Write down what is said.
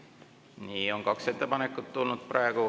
Nii, on kaks ettepanekut tulnud.